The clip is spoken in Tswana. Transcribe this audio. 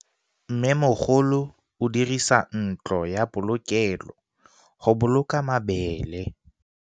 Mmêmogolô o dirisa ntlo ya polokêlô, go boloka mabele.